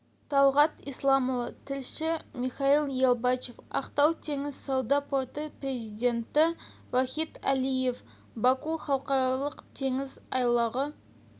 талғат исламұлы тілші михаил ялбачев ақтау теңіз сауда порты президенті вахид алиев баку халықаралық теңіз айлағы